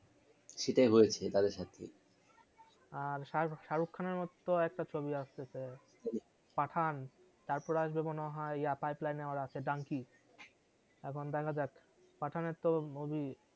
সেটাই হয়েছে তাদের সাথে আর সারুখান এর তো একটা ছবি আসতেসে পাঠান তারপরে আসবে মনে হয় donkey এখন দেখা পাঠান এর তো movie